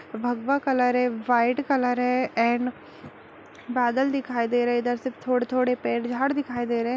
भगवा कलर है white colour है एंड बादल दिखाई दे रहे है इधर सिर्फ थोड़े-थोड़े पेड़ झाड़ दिखाई दे रहे --